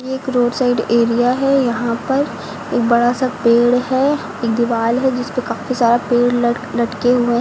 एक road side area है यहां पर एक बड़ा सा पेड़ है एक दीवाल है जिसपे काफी सारा पेड़ ल लटके हुए हैं।